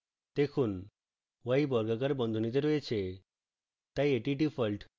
দেখুন y বর্গাকার বন্ধনীতে রয়েছে তাই এটি ডিফল্ট